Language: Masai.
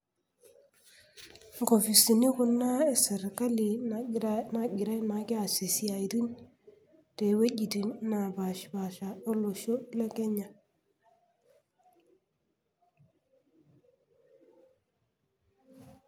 Inkofisini Kuna e serkali naagirai naake aasie isiaitin tewuejitin napaasha olosho le Kenya